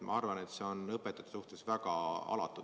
Ma arvan, et see on õpetajate suhtes väga alatu.